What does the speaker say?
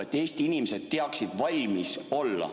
Et Eesti inimesed teaksid valmis olla.